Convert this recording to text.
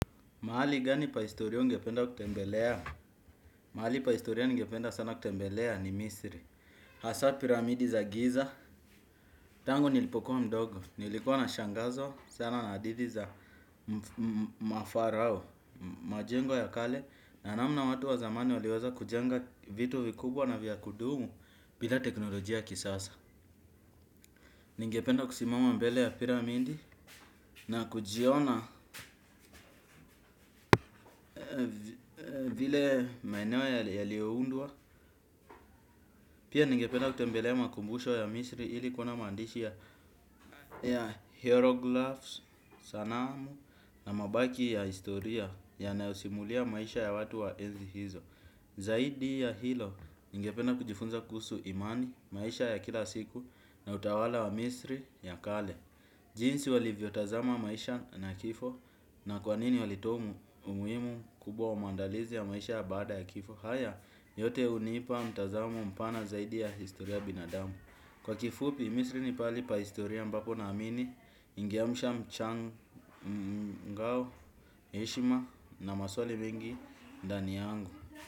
Mahali gani pa historia ungependa kutembelea, mahali pa historia ningependa sana kutembelea ni misri. Hasa piramidi za giza, tangu nilipokuwa mdogo, nilikuwa nashangazwa sana na hadithi za mafarao. Majengo ya kale na namna watu wa zamani waliweza kujenga vitu vikubwa na vya kudumu bila teknolojia ya kisasa. Ningependa kusimama mbele ya piramidi na kujiona vile maeneo yaliyoundwa. Pia ningependa kutembelea makumbusho ya misri ili kuona maandishi ya hieroglaphs, sanamu na mabaki ya historia yanayosimulia maisha ya watu wa enzi hizo. Zaidi ya hilo ningependa kujifunza kuhusu imani maisha ya kila siku na utawala wa misri ya kale. Jinsi walivyotazama maisha na kifo na kwa nini walitoa umuhimu kubwa wa maandalizi ya maisha ya baada ya kifo. Haya yote hunipa mtazamo mpana zaidi ya historia ya binadamu. Kwa kifupi misri ni pahali pa historia ambapo naamini ningeamsha mchangao, heshima na maswali mengi ndani yangu.